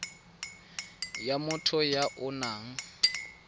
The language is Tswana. ya motho ya o nang